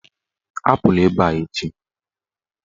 Apụla ebe a echi!